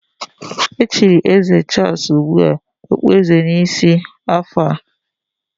Echiri eze Charles ugbu a okpueze n'isi afọ a.